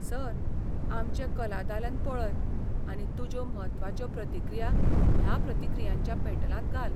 Sir, आमचे कला दालन पळय आनी तुज्यो म्हत्वाच्यो प्रतिक्रिया ह्या प्रतिक्रियांच्या पेटलांत घाल.